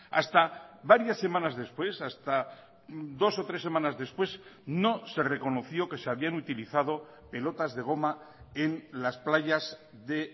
hasta varias semanas después hasta dos o tres semanas después no se reconoció que se habían utilizado pelotas de goma en las playas de